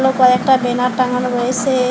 আরো কয়েকটা বেনার টাঙানো রয়েসে।